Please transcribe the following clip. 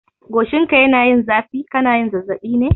Goshinka yana yin zafi, kana zazzaɓi ne?